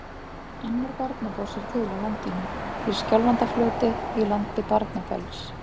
Annar Barnafoss er til á landinu, í Skjálfandafljóti í landi Barnafells.